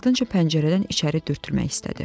Ardınca pəncərədən içəri dürtülmək istədi.